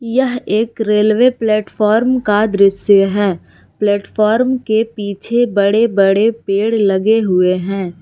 यह एक railway platform का दृश्य है प्लेटफार्म के पीछे बड़े बड़े पेड़ लगे हुए हैं।